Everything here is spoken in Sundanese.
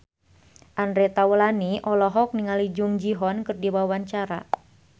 Andre Taulany olohok ningali Jung Ji Hoon keur diwawancara